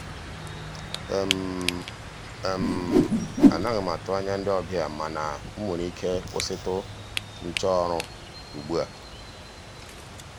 anaghị m atụ anya ndị ọbịa mana m nwere ike kwụsịtụ nchọ ọrụ ugbu a.